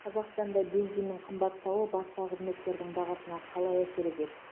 қазақстанда бензиннің қымбаттауы басқа қызметтердің бағасына қалай әсер етеді